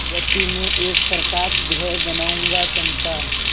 मृति में एक प्रकाशगृह बनाऊंगा चंपा